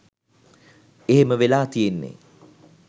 එහෙම වෙලා තියෙන්නෙ